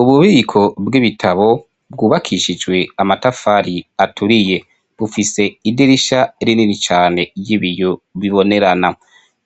Ububiko bw'ibitabo bwubakishijwe amatafari aturiye. Bufise idirisha rinini cane ry'ibiyo bibonerana.